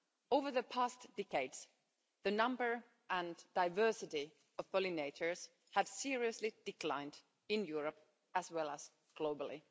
Over the past decades, the number and diversity of pollinators have seriously declined in Europe as well as globally.